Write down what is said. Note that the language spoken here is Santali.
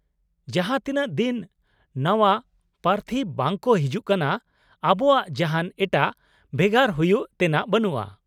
-ᱡᱟᱦᱟᱸ ᱛᱤᱱᱟᱹᱜ ᱫᱤᱱ ᱱᱟᱣᱟ ᱯᱨᱟᱛᱷᱤ ᱵᱟᱝ ᱠᱚ ᱦᱤᱡᱩᱜ ᱠᱟᱱᱟ ,ᱟᱵᱚᱣᱟᱜ ᱡᱟᱦᱟᱱ ᱮᱴᱟᱜ ᱵᱷᱮᱜᱟᱨ ᱦᱩᱭᱩᱜ ᱛᱮᱱᱟᱜ ᱵᱟᱹᱱᱩᱜᱼᱟ ᱾